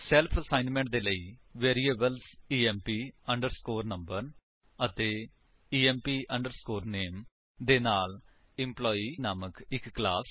self assessment ਦੇ ਲਈ variables emp underscore number ਅਤੇ ਇੰਪ ਅੰਡਰਸਕੋਰ ਨਾਮੇ ਦੇ ਨਾਲ ਐਂਪਲਾਈ ਨਾਮਕ ਇੱਕ ਕਲਾਸ